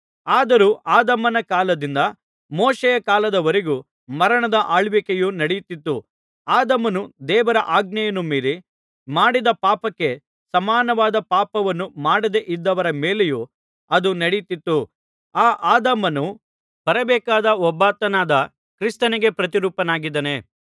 ಆದರೂ ಆದಾಮನ ಕಾಲದಿಂದ ಮೋಶೆಯ ಕಾಲದವರೆಗೂ ಮರಣದ ಆಳ್ವಿಕೆಯು ನಡೆಯುತ್ತಿತ್ತು ಆದಾಮನು ದೇವರ ಆಜ್ಞೆಯನ್ನು ಮೀರಿ ಮಾಡಿದ ಪಾಪಕ್ಕೆ ಸಮಾನವಾದ ಪಾಪವನ್ನು ಮಾಡದೆ ಇದ್ದವರ ಮೇಲೆಯೂ ಅದು ನಡೆಯುತ್ತಿತ್ತು ಆ ಆದಾಮನು ಬರಬೇಕಾದ ಒಬ್ಬಾತನಾದ ಕ್ರಿಸ್ತನಿಗೆ ಪ್ರತಿರೂಪನಾಗಿದ್ದಾನೆ